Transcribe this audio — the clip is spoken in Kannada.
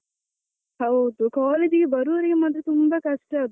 ಹೌದು college ಗೆ ಬರುವವರಿಗೆ ಮಾತ್ರ ತುಂಬಾ ಕಷ್ಟ.